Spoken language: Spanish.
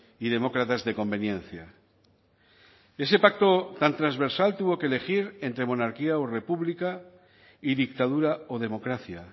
y demócratas de conveniencia ese pacto tan transversal tuvo que elegir entre monarquía o república y dictadura o democracia